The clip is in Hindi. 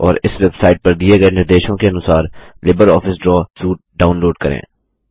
और इस वेबसाइट पर दिये गए निर्देशों के अनुसार लिबरऑफिस ड्रा सूट डाऊनलोड करें